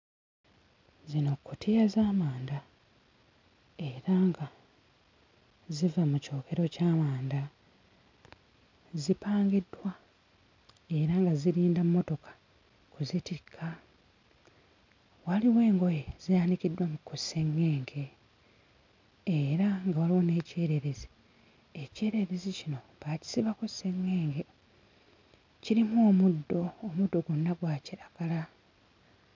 Zino kkutiya z'amanda era nga ziva mu kyokero ky'amanda zipangiddwa era nga zirinda mmotoka kuzitikka. Waliwo engoye zaaliriddwa mu ku sseŋŋenge era nga waliwo n'ekyererezi, ekyererezi kino baakisibako sseŋŋenge kirimu omuddo, omuddo gwonna gwa kiragala.